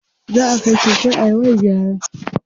Zaʼa kai keken Ayman gyara.